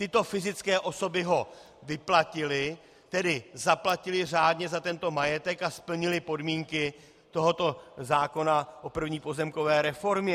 Tyto fyzické osoby ho vyplatily, tedy zaplatily řádně za tento majetek a splnily podmínky tohoto zákona o první pozemkové reformě.